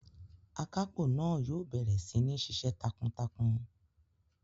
Akápò náà yóò bẹ̀rẹ̀ sí ní ṣíṣe takuntakun